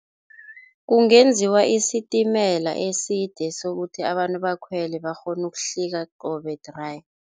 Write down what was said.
Kungenziwa isitimela eside sokuthi abantu bakhwele bakghone ukuhlika qobe-dry.